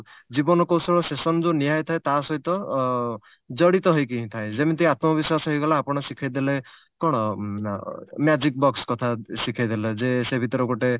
ଜୀବନ କୌଶଳ session ଯଉ ନିଆହେଇଥାଏ ତା ସହିତ ଅ ଜଡିତ ହେଇକି ହିଁ ଥାଏ ଯେମିତି ଆତ୍ମବିଶ୍ଵାସ ହେଇଗଲା ଆପଣ ଶିଖେଇଦେଲେ କଣ ଅ magic box କଥା ଶିଖେଇଦେଲେ ଯେ ସେ ଭିତରେ ଗୋଟେ